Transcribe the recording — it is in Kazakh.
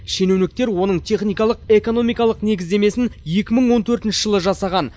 шенеуніктер оның техникалық экономикалық негіздемесін екі мың он төртінші жылы жасаған